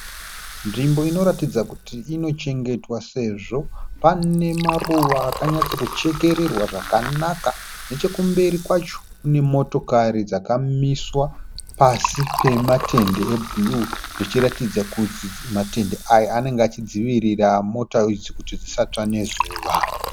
Nzvimbo inoratidza kuti inochengetedzwa sezvo pane maruva akanyatsokuchekererwa zvakanaka. Nechekumberi kwacho kune motokari dzakamiswa pasi pematende ebhuruu zvichiratidza kuti matende anenge achidzivirira mota idzi kuti dzisatsva nezuva.